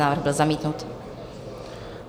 Návrh byl zamítnut.